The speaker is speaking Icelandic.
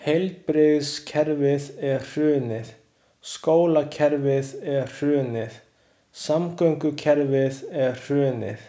Heilbrigðiskerfið er hrunið, skólakerfið er hrunið, samgöngukerfið er hrunið.